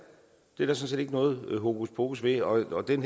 sådan set ikke noget hokuspokus ved og den